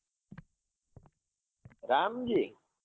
Ramji?